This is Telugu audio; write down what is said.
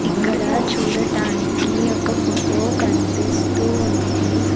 ఇక్కడ చూడటానికి ఒక ఫొటో కన్పిస్తూ ఉంది.